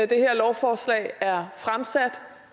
det her lovforslag er fremsat